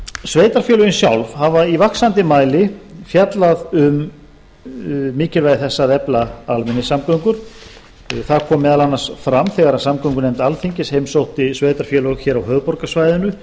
sveitarfélögin sjálf hafa í vaxandi mæli fjallað um mikilvægi þess að efla almenningssamgöngur það kom meðal annars fram þegar samgöngunefnd alþingis heimsótti sveitarfélög á höfuðborgarsvæðinu